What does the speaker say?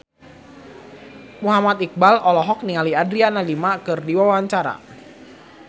Muhammad Iqbal olohok ningali Adriana Lima keur diwawancara